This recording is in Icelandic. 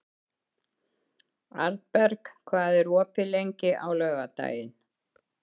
Arnberg, hvað er opið lengi á laugardaginn?